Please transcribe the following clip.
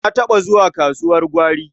Na taɓa zuwa kasuwar gwari.